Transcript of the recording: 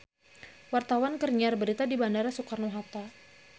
Wartawan keur nyiar berita di Bandara Soekarno Hatta